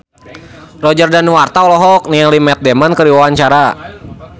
Roger Danuarta olohok ningali Matt Damon keur diwawancara